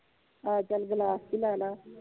ਆਹੋ ਚਲ ਗਿਲਾਸ ਚ ਈ ਲਾਲਾ